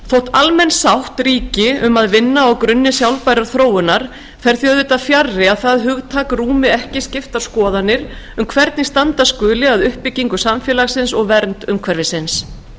almenn sátt ríki um að vinna á grunni sjálfbærrar þróunar fer því auðvitað fjarri að það hugtak rúmi ekki skiptar skoðanir um hvernig standa skuli að uppbyggingu samfélagsins og vernd umhverfisins